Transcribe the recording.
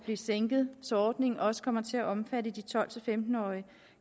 sænket så ordningen også kommer til at omfatte de tolv til femten årige